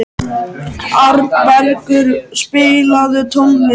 Arnbergur, spilaðu tónlist.